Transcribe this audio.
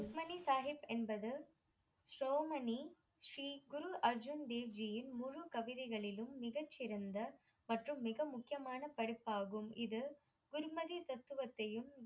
சுக்மணி சாஹிப் என்பது சோமனி ஸ்ரீ குரு அர்ஜுன் தேவ்ஜியின் முழு கவிதைகளிலும் மிகச்சிறந்த மற்றும் மிக முக்கியமான படைப்பாகும் இது குர்மதி தத்துவத்தையும்